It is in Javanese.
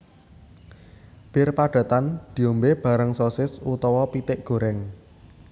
Bir padatan diombe bareng sosis utawa pitik goreng